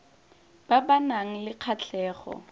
ba ba nang le kgatlhego